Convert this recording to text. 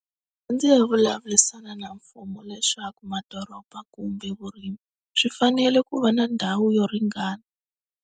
Ndzi ya vulavurisana na mfumo leswaku madoroba kumbe vurimi swi fanele ku va na ndhawu yo ringana.